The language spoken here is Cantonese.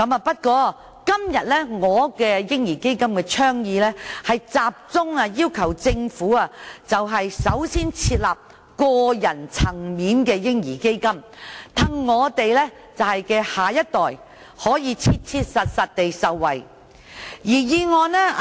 不過，我今天的倡議，是集中要求政府首先設立個人層面的"嬰兒基金"，讓我們下一代可以切切實實地受惠。